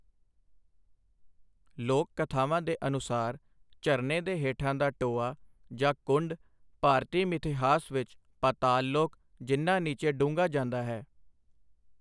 ਲੋਕ ਕਥਾਵਾਂ ਦੇ ਅਨੁਸਾਰ, ਝਰਨੇ ਦੇ ਹੇਠਾਂ ਦਾ ਟੋਆ ਜਾਂ ਕੁੰਡ ਭਾਰਤੀ ਮਿਥਿਹਾਸ ਵਿੱਚ ਪਾਤਾਲਲੋਕ, ਜਿੰਨਾ ਨੀਚੇ ਡੂੰਘਾ ਜਾਂਦਾ ਹੈ।